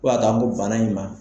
Fo ka ta ko bana in ma.